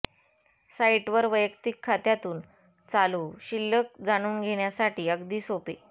साइटवर वैयक्तिक खात्यातून चालू शिल्लक जाणून घेण्यासाठी अगदी सोपे